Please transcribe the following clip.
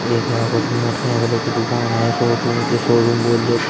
एक यहां पर मोटरसाइकिलों की दुकान है शोरूम जो शोरूम